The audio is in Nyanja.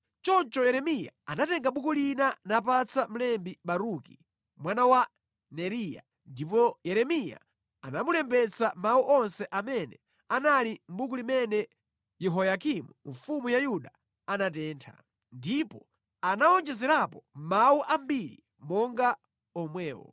Choncho Yeremiya anatenga buku lina napatsa mlembi Baruki mwana wa Neriya, ndipo Yeremiya anamulembetsa mawu onse amene anali mʼbuku limene Yehoyakimu mfumu ya Yuda anatentha. Ndipo anawonjezerapo mawu ambiri monga omwewo.